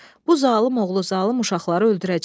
Bu zalım oğlu zalım uşaqları öldürəcək.